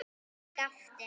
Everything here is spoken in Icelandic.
Ég gapti.